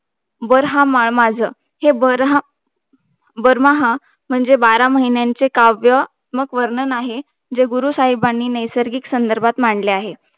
बारमाहाः म्हणजे बारा महिन्याचे काव्यात्मक वर्णन आहे जे गुरुसाहेबानी नैसिर्गिक संदर्भात मांडले आहे